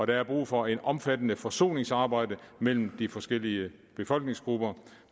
der er brug for et omfattende forsoningsarbejde mellem de forskellige befolkningsgrupper